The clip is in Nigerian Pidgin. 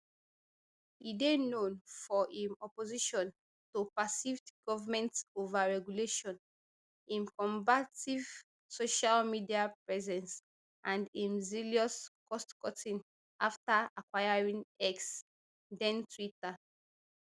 e dey known for im opposition to perceived govnment overregulation im combative social media presence and im zealous costcutting afta acquiring x den twitter